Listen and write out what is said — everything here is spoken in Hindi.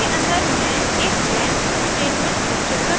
इसके अंदर मैं एक when स्टेटमेंट घोषित करती हूँ